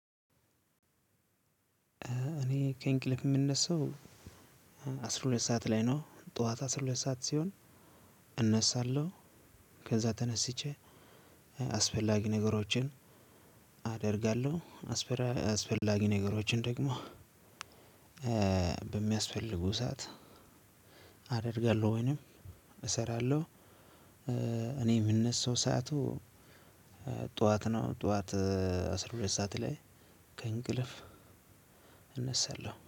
እኔ ከእንቅልፍ የምነሳው። አስራ ሁለት ሰዓት ላይ ነው ጠዋት አስራ ሁለት ሰዓት ሲሆን እነሳለሁ። ከዛ ተነስቼ አስፈላጊ ነገሮችን አደርጋለሁ። አስፈላጊ ነገሮችን ደግሞ በሚያስፈልጉ ሰዓት አደርጋለሁ ወይንም እሰራለሁ። እኔ የምነሳው ሰዓቱ ጠዋት ነው ጠዋት አስራ ሁለት ሰዓት ላይ ከእንቅልፍ እነሳለሁ